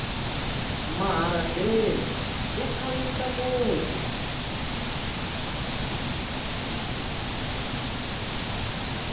maharadeni ya khavisa muti